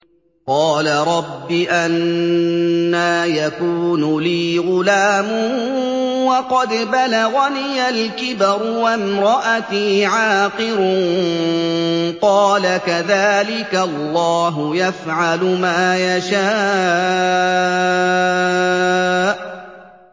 قَالَ رَبِّ أَنَّىٰ يَكُونُ لِي غُلَامٌ وَقَدْ بَلَغَنِيَ الْكِبَرُ وَامْرَأَتِي عَاقِرٌ ۖ قَالَ كَذَٰلِكَ اللَّهُ يَفْعَلُ مَا يَشَاءُ